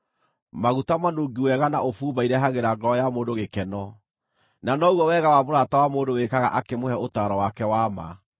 Maguta manungi wega na ũbumba irehagĩra ngoro ya mũndũ gĩkeno, na noguo wega wa mũrata wa mũndũ wĩkaga akĩmũhe ũtaaro wake wa ma.